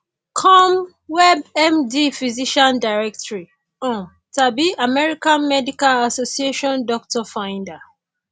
com webmd physician directory um tàbí american medical association doctor finder